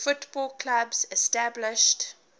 football clubs established